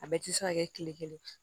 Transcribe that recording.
A bɛɛ tɛ se ka kɛ kile kelen